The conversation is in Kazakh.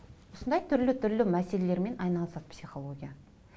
осындай түрлі түрлі мәселелермен айналысады психология